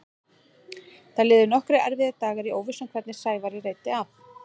Það liðu nokkrir erfiðir dagar í óvissu um hvernig Sævari reiddi af.